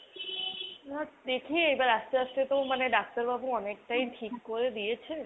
দেখি এবার আস্তে আস্তে তো মানে ডাক্তারবাবু অনেকটাই ঠিক করে দিয়েছেন।